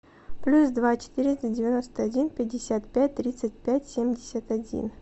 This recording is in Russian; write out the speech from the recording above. плюс два четыреста девяносто один пятьдесят пять тридцать пять семьдесят один